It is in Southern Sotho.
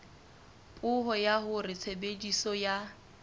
puo ya hore tshebediso ya